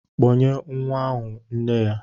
Kpọnye nwa ahụ nne ya!